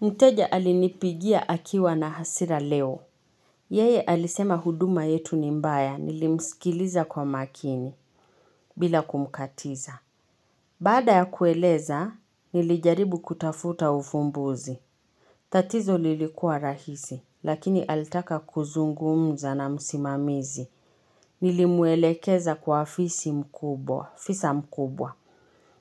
Mteja alinipigia akiwa na hasira leo. Yeye alisema huduma yetu ni mbaya nilimsikiliza kwa makini bila kumkatiza. Baada ya kueleza nilijaribu kutafuta uvumbuzi. Tatizo lilikuwa rahisi, lakini alitaka kuzungumza na msimamizi. Nilimuelekeza kwa fisi mkubwa, fisa mkubwa.